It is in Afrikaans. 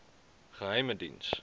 geheimediens